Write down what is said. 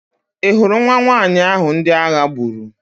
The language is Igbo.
Ị hụrụ nwa nwanyị ahụ ndị agha gburu?